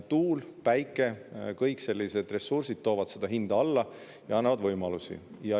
Tuul, päike ja kõik sellised ressursid toovad hinda alla ja annavad võimalusi.